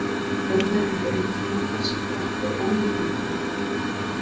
örverur eru einfrumungar sem fá orku úr ólífrænum efnahvörfum